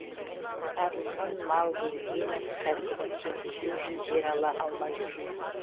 әділхан малгелдинов кәсібін кеңейту үшін жер ала алмай жүр